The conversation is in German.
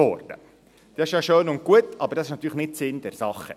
Das ist ja schön und gut, ist aber natürlich nicht Sinn der Sache.